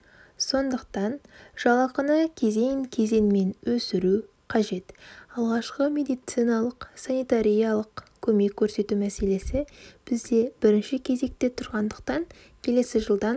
сондықтан жалақыны кезең-кезеңменөсіру қажет алғашқы медициналық-санитариялық көмек көрсету мәселесі бізде бірінші кезекте тұрғандықтан келесі жылдан